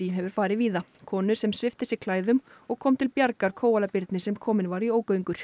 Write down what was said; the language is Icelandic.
hefur farið víða konu sem svipti sig klæðum og kom til bjargar kóalabirni sem kominn var í ógöngur